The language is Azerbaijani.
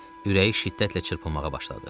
Ürəyi şiddətlə çırpınmağa başladı.